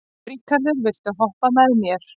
Ríkharður, viltu hoppa með mér?